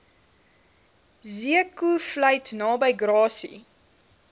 zeekoevlei naby grassy